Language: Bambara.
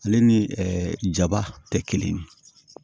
Ale ni jaba tɛ kelen ye